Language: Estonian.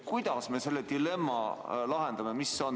Kuidas me selle dilemma lahendame?